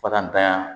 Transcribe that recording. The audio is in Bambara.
Fa ka n tanya